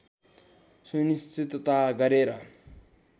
सुनिश्चितता गरेर